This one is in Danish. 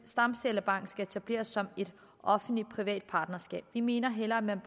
stamcellebank skal etableres som et offentlig privat partnerskab vi mener at man